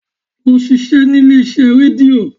Lọ ṣiṣẹ́ nílé iṣẹ́ rédíò!